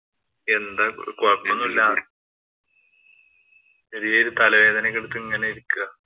എന്താ? കൊഴപ്പൊന്നൂല്ല ചെറിയ ഒരു തലവേദനയൊക്കെ എടുത്ത് ഇങ്ങനെ ഇരിക്കയാ.